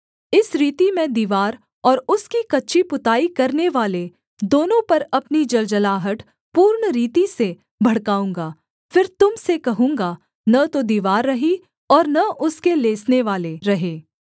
इस रीति मैं दीवार और उसकी कच्ची पुताई करनेवाले दोनों पर अपनी जलजलाहट पूर्ण रीति से भड़काऊँगा फिर तुम से कहूँगा न तो दीवार रही और न उसके लेसनेवाले रहे